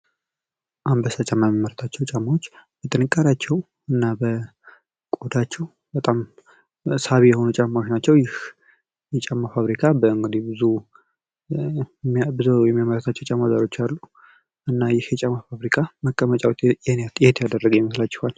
አንበሳ ጫማ የሚያመርቱት ጫማ በጥንካሬያቸው እና በቆዳቸው በጣም ሳቢ የሆኑ ጫማዎች ናቸው። ይህ የጫማ ፋብሪካ እንግዲህ ብዙ የሚያመርቱ ሀገሮች አሉ። እና ይህ የጫማ ፋብሪካ መቀመጫውን የት ያደረገ ይመስላቹሀል?